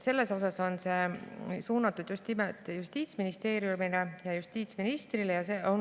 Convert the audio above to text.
Selles mõttes on see arupärimine suunatud just nimelt Justiitsministeeriumile ja justiitsministrile.